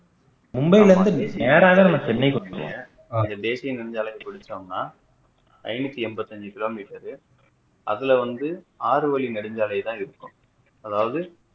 மும்பைல இருந்து நேராதான் நம்ம சென்னைக்கு வந்தோம் இந்த தேசிய நெடுஞ்சாலைய நம்ம புடிச்சிட்டோம்னா ஐநூற்றி என்பத்தி ஐந்து kilometer அதுல வந்து ஆறுவழி நெடுஞ்சாலை தான இருக்கும்